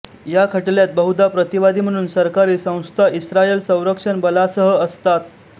या खटल्यात बहुधा प्रतिवादी म्हणून सरकारी संस्थाइस्रायल संरक्षण बलासहअसतात